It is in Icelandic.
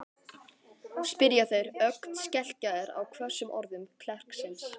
spyrja þeir, ögn skelkaðir á hvössum orðum klerksins.